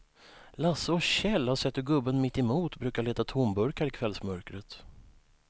Lasse och Kjell har sett hur gubben mittemot brukar leta tomburkar i kvällsmörkret.